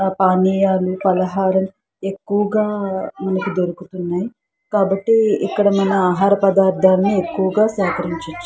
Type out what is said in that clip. పానీయాలు ఫలహారం ఎక్కువగా మనకు దొరుకు తున్నాయ్. కాబట్టి ఇక్కడ మన ఆహార పదార్థాలను ఎక్కువగా సేకరించోచ్చు.